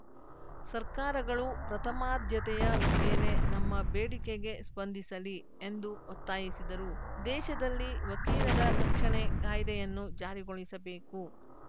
ಸರ್ಕಾರಗಳು ಪ್ರಥಮಾದ್ಯತೆಯ ಮೇಲೆ ನಮ್ಮ ಬೇಡಿಕೆಗೆ ಸ್ಪಂದಿಸಲಿ ಎಂದು ಒತ್ತಾಯಿಸಿದರು ದೇಶದಲ್ಲಿ ವಕೀಲರ ರಕ್ಷಣೆ ಕಾಯ್ದೆಯನ್ನು ಜಾರಿಗೊಳಿಸಬೇಕು